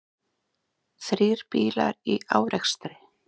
Þrír bílar í árekstri